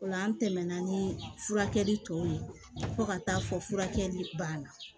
O la an tɛmɛna ni furakɛli tɔ ye fo ka taa fɔ furakɛli banna